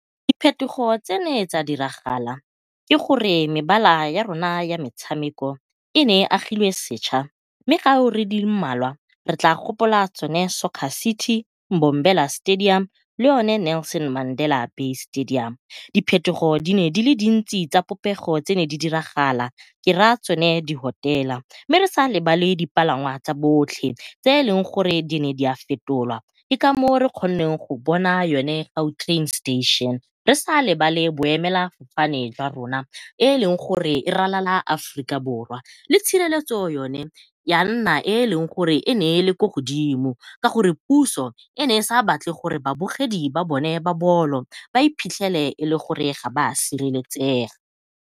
Diphetogo tse ne tsa diragala ke gore mebala ya rona ya metshameko e ne e agilwe seša mme mmalwa re tlaa gopola tsone Soccer City, Mbombela Stadium le yone Nelson Mandela Bay Stadium. Diphetogo di ne di le dintsi tsa popego tse neng di diragala, ke raya tsone di-hotel-a, mme re sa lebale dipalangwa tsa botlhe tse e leng gore di ne fetolwa ke kamoo re kgonneng go bona yone Gautrain station. Re sa lebale boemelafofane jwa rona e e leng gore e ralala Aforika Borwa, mme tshireletso yone ya nna e e leng gore e ne e le ko godimo, ka gore puso e ne e sa batle gore babogedi ba bone ba bolo ba iphitlhele e le gore ga ba sireletsega.